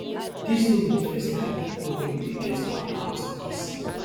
dis no be di first time portable dey get kwanta wit police